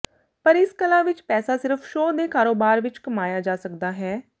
ਪਰ ਇਸ ਕਲਾ ਵਿਚ ਪੈਸਾ ਸਿਰਫ ਸ਼ੋਅ ਦੇ ਕਾਰੋਬਾਰ ਵਿਚ ਕਮਾਇਆ ਜਾ ਸਕਦਾ ਹੈ